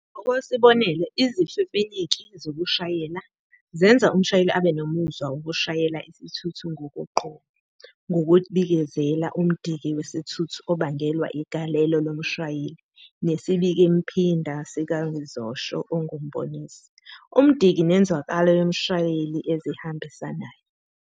Ngokwesibonelo, izifefenyeki zokushayela, zenza umshayeli abe nomuzwa wokushayela isithuthi ngokoqobo ngokubikezela umdiki wesithuthi obangelwa igalelo lomshayeli nesibikemphinda sikangizosho ongumboniso, umdiki nenzwakalo yomshayeli ezihambisanayo.